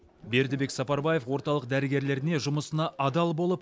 бердібек сапарбаев орталық дәрігерлеріне жұмысына адал болып